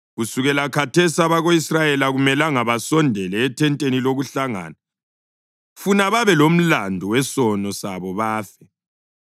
Kusukela khathesi abako-Israyeli akumelanga basondele ethenteni lokuhlangana, funa babelomlandu wesono sabo bafe.